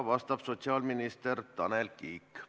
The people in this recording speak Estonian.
Vastab sotsiaalminister Tanel Kiik.